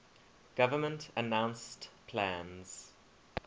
government announced plans